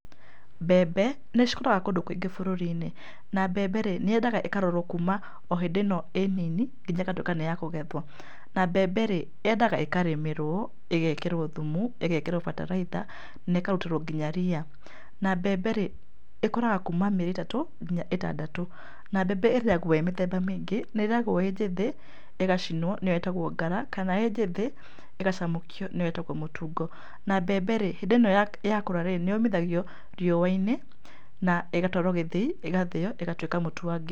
Mbembe, nĩcikũraga kũndũ kũingĩ bũrũriinĩ, na mbembe rĩ, nĩyendaga ĩkarorwo kuma o hĩndĩ ĩno ĩ nini nginya ĩgatuĩka nĩ ya kũgethwo. Na mbembe rĩ, yendaga ĩkarĩmĩrwo, ĩgekĩrwo thumu, ĩgekĩrwo bataraitha, na ĩkarutĩrwo nginya ria. Na mbembe rĩ, ĩkũraga kuma mĩeri ĩtatũ nginya ĩtandatũ. Na mbembe ĩrĩagwo ĩ mĩthemba mĩingĩ, nĩ ĩrĩagwo ĩ njĩthi, ĩgacinwo, nĩyo ĩtagwo ngara, kana ĩ njĩthĩ ĩgacamũkio nĩyo ĩtagwo mũtungo. Na mbembe rĩ hindĩ ĩno ya yakũra rĩ, nĩyũmithagio riuainĩ, ĩgatwarwo gĩthĩi ĩgathĩo, ĩgatuĩka mũtu wa ngima.